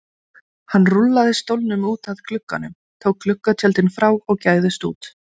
Hann rúllaði stólnum út að glugganum, tók gluggatjöldin frá og gægðist út.